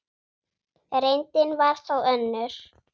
Reyndin var þó önnur.